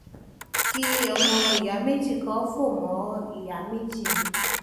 kí ọmọ ìyá méjì kan fọ́mọ ìyá méjì mi